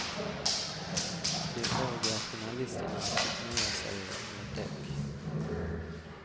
De övriga finalisterna fick nöja sig med däck.